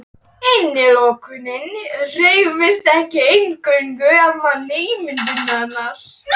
Innilokunin hrifsar ekki eingöngu af manni ímyndunina.